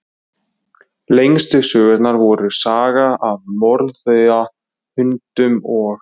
Lengstu sögurnar voru Sagan af mórauða hundinum og